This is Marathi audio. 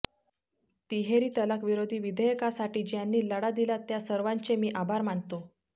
तिहेरी तलाक विरोधी विधेयकासाठी ज्यांनी लढा दिला त्या सर्वांचे मी आभार मानतो